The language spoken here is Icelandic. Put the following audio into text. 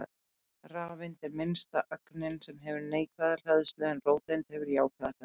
Rafeind er minnsta ögnin sem hefur neikvæða hleðslu en róteind hefur jákvæða hleðslu.